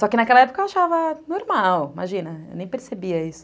Só que naquela época eu achava normal, imagina, eu nem percebia isso.